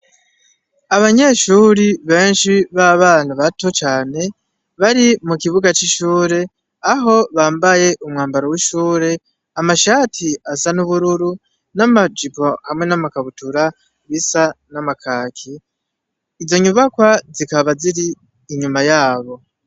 Abanyeshure benshi b’abana bato cane bari mu kibuga c’ishure, aho bambaye umwambaro w’ishure, amashati asa n’ubururu, n’amajipo hamwe n’amakabutura bisa n'amakaki. Izo nyubakwa zikaba ziri inyuma yabo.